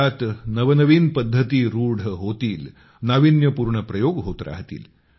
त्यात नवनवीन पद्धती रूढ होतील नाविन्यपूर्ण प्रयोग होत राहतील